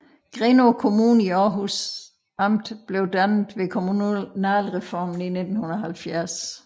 Grenaa Kommune i Århus Amt blev dannet ved kommunalreformen i 1970